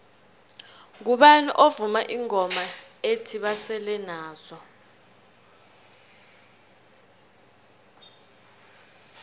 ngubani ovuma ingoma ethi basele nazo